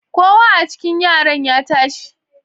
Kowa a cikin yaran ya tashi